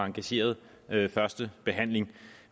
engageret første behandling